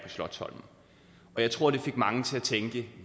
slotsholmen jeg tror det fik mange til at tænke